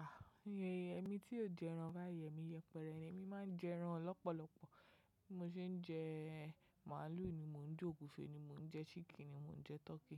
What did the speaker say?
Ah! Ẹ̀mí tí ó jẹ ẹran báyìí, èmi yẹpẹrẹ, èmi máa ń jẹ ẹran lọ́pọ̀lọpọ̀. Bí mo ṣe ń jẹ màálù ni mò ń jẹ, ògúnfe ni mò ń jẹ, ṣíkìn ni mò ń jẹ, tọkí.